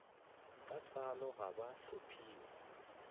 ka tsalo ga ba tlhophiwe